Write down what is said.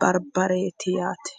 barbareeti yaate